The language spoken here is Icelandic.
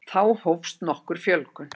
Þá hófst nokkur fjölgun.